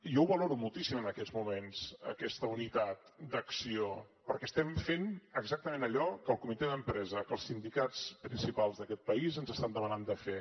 jo ho valoro moltíssim en aquests moments aquesta unitat d’acció perquè estem fent exactament allò que el comitè d’empresa que els sindicats principals d’aquest país ens estan demanant de fer